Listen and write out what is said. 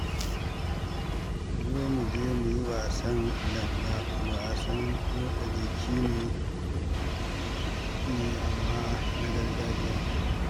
Ku zo mu je mu yi wasan langa, wasan motsa jiki ne amma na gargajiya